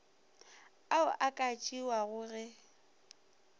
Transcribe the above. ao a ka tšewago ge